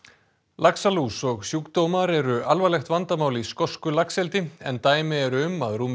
laxalús og sjúkdómar eru alvarlegt vandamál í skosku laxeldi en dæmi eru um að rúmur